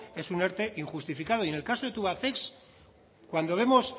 es un erte injustificado y en el caso de tubacex cuando vemos